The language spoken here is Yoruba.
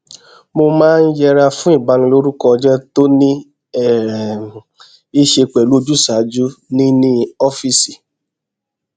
mo máa ń yẹra fún ìbanilórúkọjé tó ní um í ṣe pẹlú ojúṣàájú ní ní ófíìsì